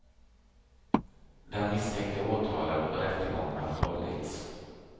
Den misstänkte är åtalad och rättegång har hållits.